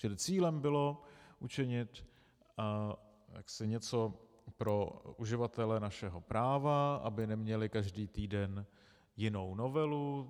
Čili cílem bylo učinit něco pro uživatele našeho práva, aby neměli každý týden jinou novelu.